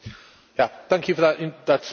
Thank you for that speech.